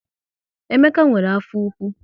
Emeka nwere afọ ụkwụ